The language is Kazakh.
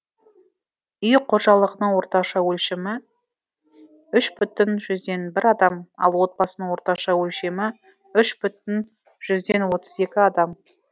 үй қожалығының орташа өлшемі үш бүтін жүзден бір адам ал отбасының орташа өлшемі үш бүтін жүзден екі адам